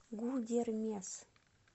гудермес